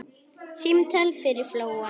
Símtal yfir flóann